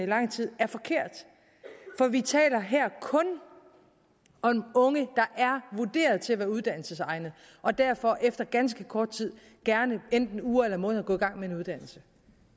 lang tid er forkert for vi taler her kun om unge der er vurderet til at være uddannelsesegnede og derfor efter ganske kort tid gerne enten uger eller måneder går i gang med en uddannelse